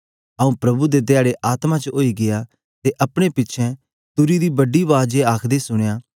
आऊँ प्रभु दे धयारे आत्मा च आई गीया ते अपने पिछें तुरी दी बड़ी बाज ए आखदे सुनया